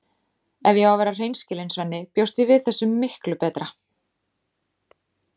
Ef ég á að vera hreinskilin, Svenni, bjóst ég við þessu miklu betra.